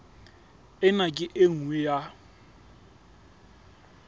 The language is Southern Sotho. ena ke e nngwe ya